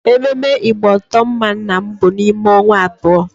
Ememme igboto mma nna m bụ n'ime onwa abuo